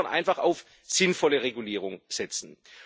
Wir müssen insofern einfach auf sinnvolle Regulierung setzen.